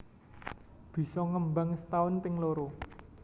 Bisa ngembang setaun ping loro